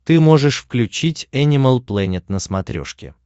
ты можешь включить энимал плэнет на смотрешке